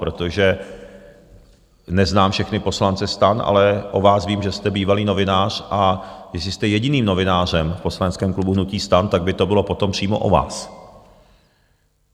Protože neznám všechny poslance STAN, ale o vás vím, že jste bývalý novinář, a jestli jste jediným novinářem v poslaneckém klubu hnutí STAN, tak by to bylo potom přímo o vás.